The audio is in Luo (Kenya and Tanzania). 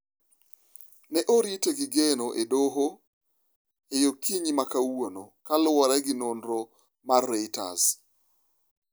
Ne orite gi geno e doho e okinyi ma kawuono, kaluwore gi nonro mar Reuters.